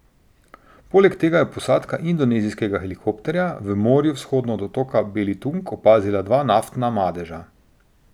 Poleg tega je posadka indonezijskega helikopterja v morju vzhodno od otoka Belitung opazila dva naftna madeža.